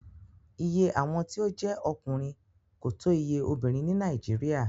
Iye awọn eniyan ti o je ọkunrin ko to iye obinrin ni Nàìjíríà